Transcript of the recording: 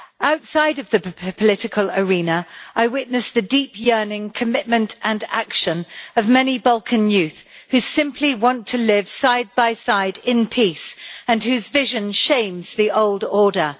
Outside of the political arena, I witnessed the deep yearning, commitment and action of many Balkan young people who simply want to live side by side in peace, and whose vision shames the old order.